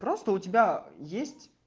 просто у тебя есть